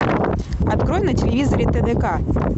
открой на телевизоре тдк